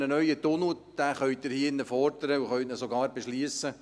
Einen neuen Tunnel können Sie hier in diesem Saal fordern und sogar beschliessen.